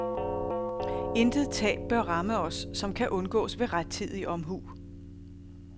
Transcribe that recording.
Intet tab bør ramme os, som kan undgås ved rettidig omhu.